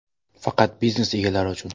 Faqat biznes egalari uchun!!!